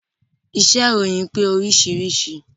Iṣẹ́ ìròyìn pé oríṣiríṣi